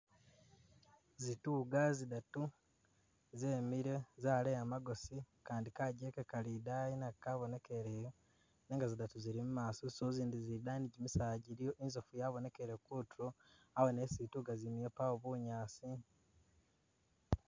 Zituga zidatu zemile, zaleya magosi, Kandi kajjeke kali idayi nako kabonekeleyo nenga zidatu zili mumaso so izindi zili idayi ni gyimisaala gyiliyo, inzofu yabonekele kutulo, awene isi ituga zimile pawo bunyaasi